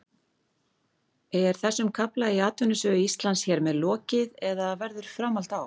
Er þessum kafla í atvinnusögu Íslands hér með lokið eða verður framhald á?